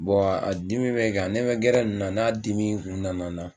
a dimi mɛ n kan, ni mɛ gɛrɛn nunnu na dimi kun nana n na